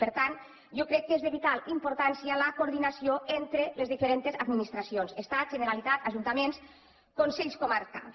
per tant jo crec que és de vital importància la coordinació entre les diferents administracions estat generalitat ajuntaments consells comarcals